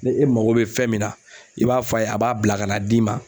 Ne e mago be fɛn min na i b'a f'a ye a b'a bila ka na d'i ma